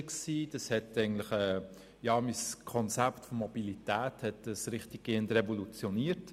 Dadurch wurde mein Konzept von Mobilität regelrecht revolutioniert.